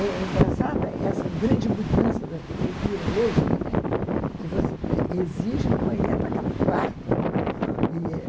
É engraçada essa grande mudança da arquitetura hoje, né, que você exige um banheiro para cada quarto.